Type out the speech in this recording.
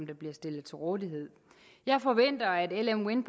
der bliver stillet til rådighed jeg forventer at lm wind